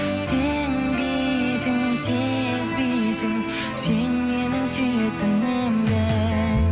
сенбейсің сезбейсің сен менің сүйетінімді